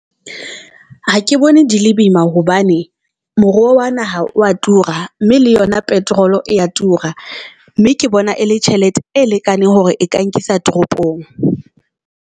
Ha ke bone di le boima hobane moruo wa naha wa tura, mme le yona petrol e ya tura. Mme ke bona e le tjhelete e lekaneng hore e ka nkisa toropong.